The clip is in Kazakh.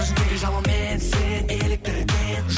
көзіңдегі жалынмен сен еліктірген